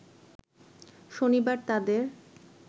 শনিবার তাদের